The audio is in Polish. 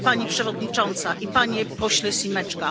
Pani Przewodnicząca i panie pośle Šimečko!